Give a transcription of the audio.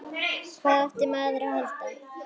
Hvað átti maður að halda?